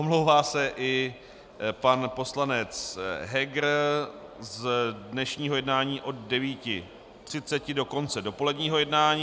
Omlouvá se i pan poslanec Heger z dnešního jednání od 9.30 do konce dopoledního jednání.